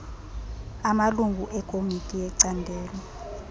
amalungu ekomiti yecandelo